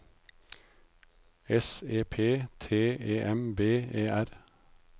S E P T E M B E R